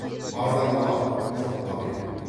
бардан алам жоққа берем